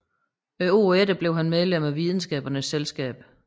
Året efter blev han medlem af Videnskabernes Selskab